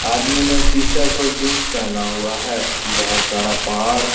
आदमी ने टी-शर्ट और जींस पहना हुआ है। बहोत सारा पहाड़ --